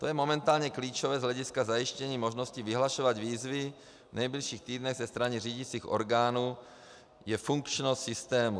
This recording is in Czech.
Co je momentálně klíčové z hlediska zajištění možnosti vyhlašovat výzvy v nejbližších týdnech ze strany řídicích orgánů, je funkčnost systému.